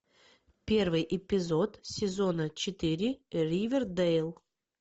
первый эпизод сезона четыре ривердэйл